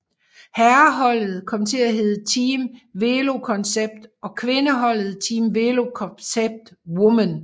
Herreholdet kom til at hedde Team VéloCONCEPT og kvindeholdet Team VéloCONCEPT Women